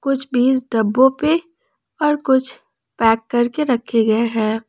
कुछ बीस डब्बों पे और कुछ पैक करके रखे गए हैं।